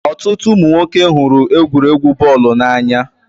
Ọtụtụ ụmụ nwoke hụrụ egwuregwu bọọlụ n'anya.